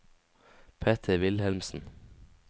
Peter Wilhelmsen